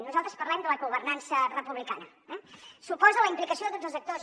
nosaltres parlem de la governança republicana eh suposa la implicació de tots els actors